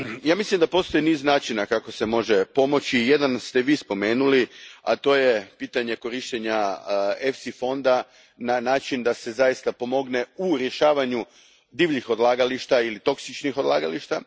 Mislim da postoji niz načina kako se može pomoći i jedan ste vi spomenuli, a to je pitanje korištenja fonda EFSU na način da se zaista pomogne u rješavanju divljih ili toksičnih odlagališta.